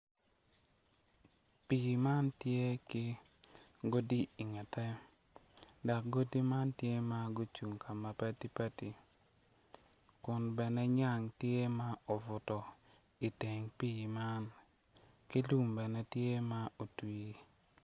Pii man tye ki godi ingette dok godi man tye ma ocung ka mapadi padi kun bene nyang tye ma obuto iteng pii man ki lum bene tye ma otwii.